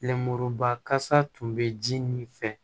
Lenmuruba kasa tun bɛ ji min fɛ